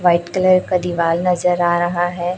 White colour का दीवाल नजर आ रहा है।